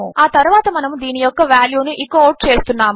ఆ తరువాత మనము దీని యొక్క వాల్యూ ను ఎకో అవుట్ చేస్తున్నాము